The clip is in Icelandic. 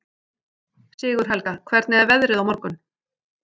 Sigurhelga, hvernig er veðrið á morgun?